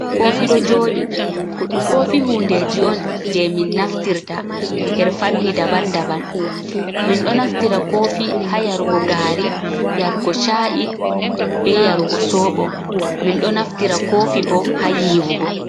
Kofi ɗo joɗi, kofi hundeji on je min naftirta her fanni daban daban min ɗo naftira kofi ha yarugo gaari yarugo chaa’i be yarugo sooɓo min ɗo naftira kofi bo ha yiwugo.